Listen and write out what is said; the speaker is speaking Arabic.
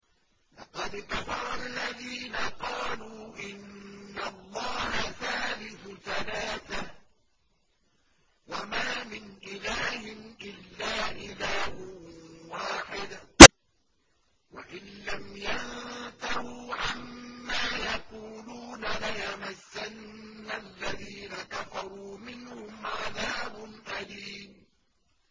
لَّقَدْ كَفَرَ الَّذِينَ قَالُوا إِنَّ اللَّهَ ثَالِثُ ثَلَاثَةٍ ۘ وَمَا مِنْ إِلَٰهٍ إِلَّا إِلَٰهٌ وَاحِدٌ ۚ وَإِن لَّمْ يَنتَهُوا عَمَّا يَقُولُونَ لَيَمَسَّنَّ الَّذِينَ كَفَرُوا مِنْهُمْ عَذَابٌ أَلِيمٌ